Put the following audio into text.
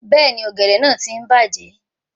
Bẹ́ẹ̀ni, ọ̀gẹ̀dẹ̀ náà ti ń bàjẹ́